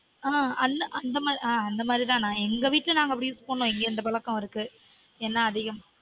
on அந்த மாதிரி ஆன் அந்த மாதிரி தான் எங்க வீட்ல நாங்க use பண்ணுவொம் இங்க அந்த பழக்கம் இருக்கு எண்ணெய் அதிகமா